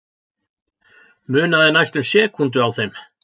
Munaði næstum sekúndu á þeim